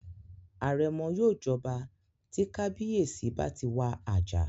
Àrẹ̀mọ yóò jọba tí kábíyèsí bá ti wà àjà